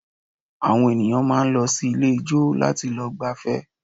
Àwọn ènìyàn máa ń lọ sí ilé ijó láti lọ gbafẹ́